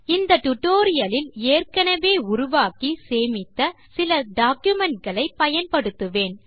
இந்த டியூட்டோரியல் இல் ஏற்கெனெவே உருவாக்கி சேமித்த சில டாக்குமென்ட் களை பயன்படுத்துவேன்